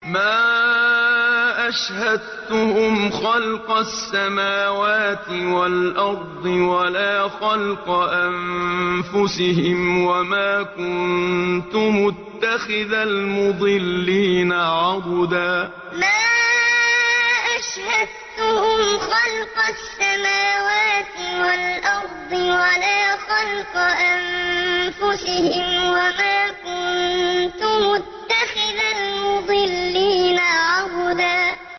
۞ مَّا أَشْهَدتُّهُمْ خَلْقَ السَّمَاوَاتِ وَالْأَرْضِ وَلَا خَلْقَ أَنفُسِهِمْ وَمَا كُنتُ مُتَّخِذَ الْمُضِلِّينَ عَضُدًا ۞ مَّا أَشْهَدتُّهُمْ خَلْقَ السَّمَاوَاتِ وَالْأَرْضِ وَلَا خَلْقَ أَنفُسِهِمْ وَمَا كُنتُ مُتَّخِذَ الْمُضِلِّينَ عَضُدًا